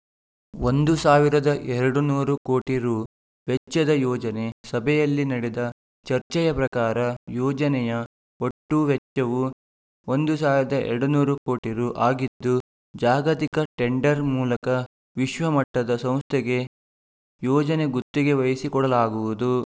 ಸಾವಿರದ ಇನ್ನೂರು ಕೋಟಿ ರು ವೆಚ್ಚದ ಯೋಜನೆ ಸಭೆಯಲ್ಲಿ ನಡೆದ ಚರ್ಚೆಯ ಪ್ರಕಾರ ಯೋಜನೆಯ ಒಟ್ಟು ವೆಚ್ಚವು ಸಾವಿರದ ಇನ್ನೂರು ಕೋಟಿ ರು ಆಗಿದ್ದು ಜಾಗತಿಕ ಟೆಂಡರ್‌ ಮೂಲಕ ವಿಶ್ವಮಟ್ಟದ ಸಂಸ್ಥೆಗೆ ಯೋಜನೆ ಗುತ್ತಿಗೆ ವಹಿಸಿಕೊಡಲಾಗುವುದು